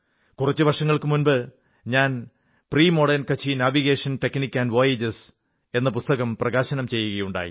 കുറച്ചു വർഷങ്ങൾക്കു മുമ്പ് ഞാൻ premodern Kutchi navigation techniques and voyages എന്ന പുസ്തകം പ്രകാശനം ചെയ്യുകയുണ്ടായി